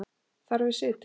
Þar við situr.